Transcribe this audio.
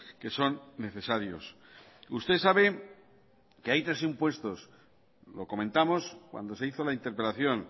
que son necesarios usted sabe que hay tres impuestos lo comentamos cuando se hizo la interpelación